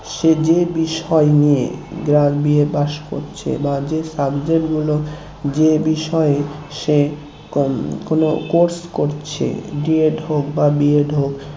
সে যে বিষয় নিয়ে যার BA pass করছে বা যে subject গুলো যে বিষয়ে সে কোন course করছে DED হোক বা BED হোক